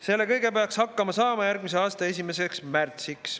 Selle kõigega peaks hakkama saama järgmise aasta 1. märtsiks.